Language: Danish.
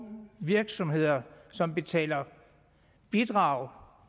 virksomheder som betaler bidrag